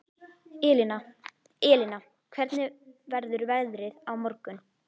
Elina, hvernig verður veðrið á morgun?